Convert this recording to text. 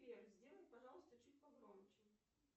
сбер сделай пожалуйста чуть погромче